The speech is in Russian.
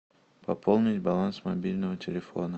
пополнить баланс мобильного телефона